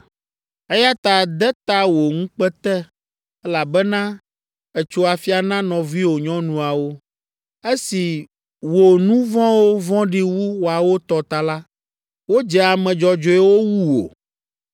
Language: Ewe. Eya ta de ta wò ŋukpe te, elabena ètso afia na nɔviwò nyɔnuawo. Esi wò nu vɔ̃wo vɔ̃ɖi wu woawo tɔ ta la, wodze ame dzɔdzɔewo wu wò.